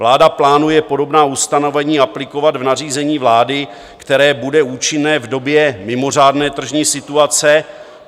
Vláda plánuje podobná ustanovení aplikovat v nařízení vlády, které bude účinné v době mimořádné tržní situace.